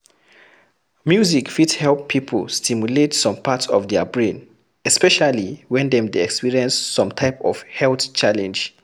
Music fit help pipo stimulate some parts of their brain, especially when dem dey experience some type of health challenge